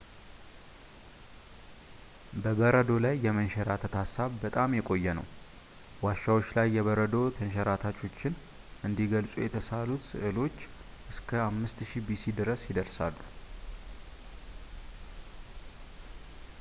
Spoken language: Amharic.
በበረዶ ላይ የመንሸራተት ሐሳብ በጣም የቆየ ነው ዋሻዎች ላይ የበረዶ ተንሸራታቾችን እንዲገልጹ የተሰሳሉት ስዕሎች እስከ 5000ቢሲ ድረስ ይደርሳሉ